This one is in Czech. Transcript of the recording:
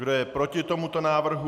Kdo je proti tomuto návrhu?